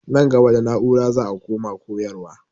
Nan gaba da na'ura za a koma koyarwa.